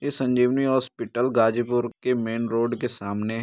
ये संजीवनी हॉस्पिटल गाज़ीपुर के main road के सामने --